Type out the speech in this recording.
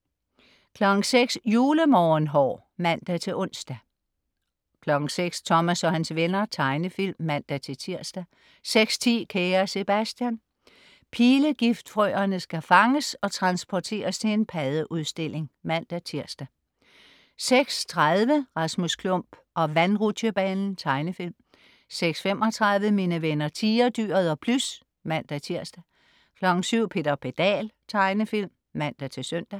06.00 Julemorgenhår (man-ons) 06.00 Thomas og hans venner. Tegnefilm (man-tirs) 06.10 Kære Sebastian. Pilegift-frøerne skal fanges og transporteres til en paddeudstilling (man-tirs) 06.30 Rasmus Klump og vandrutsjebanen. Tegnefilm 06.35 Mine venner Tigerdyret og Plys (man-tirs) 07.00 Peter Pedal. Tegnefilm (man-søn)